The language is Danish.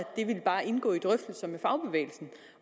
det bare vil indgå i drøftelser med fagbevægelsen